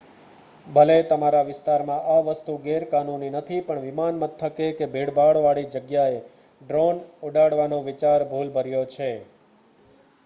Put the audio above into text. ભલે તમારા વિસ્તારમાં આ વસ્તુ ગેરકાનૂની નથી પણ વિમાનમથકે કે ભીડભાડ વાળી જગ્યાએ ડ્રોન ઉડાડવાનો વિચાર ભુલભર્યો છે